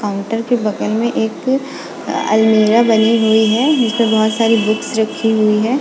Counter के बगल में एक अलमीरा बनी हुई है उसमें बहुत सारी बुक्स रखी हुई है।